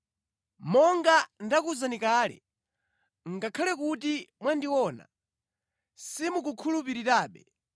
Monga ndakuwuzani kale, ngakhale kuti mwandiona simukukhulupirirabe.